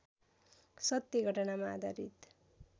सत्य घटनामा आधारित